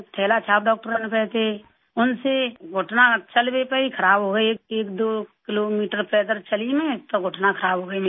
थैलाछाप डॉक्टरों ने तो ऐसे उनसे घुटना चल भी पाई ख़राब हो गई 12 किलोमीटर पैदल चली मैं तो घुटना खराब हो गई मेरी